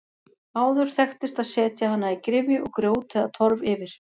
Áður þekktist að setja hana í gryfju og grjót eða torf yfir.